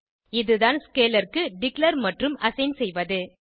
இதுதான் ஸ்கேலர் க்கு டிக்ளேர் மற்றும் அசைன் செய்வது